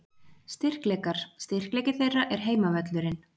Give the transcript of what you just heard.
Styrkleikar: Styrkleiki þeirra er heimavöllurinn.